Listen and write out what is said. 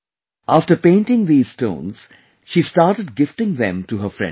After painting these stones, she started gifting them to her friends